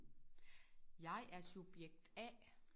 Jeg er subjekt A